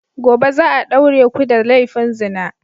Gobe za a daure ku da laifin zina!